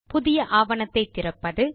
புதிய ஆவணத்தை திறப்பது